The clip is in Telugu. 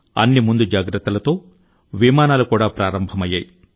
అన్ని ముందు జాగ్రత్తలతో విమానాలు కూడా ప్రారంభమయ్యాయి